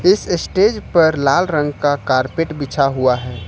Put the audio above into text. इस स्टेज पर लाल रंग का कारपेट बिछा हुआ है।